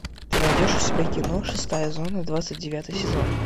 ты найдешь у себя кино шестая зона двадцать девятый сезон